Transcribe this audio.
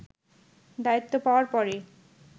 দায়িত্ব পাওয়ার পরে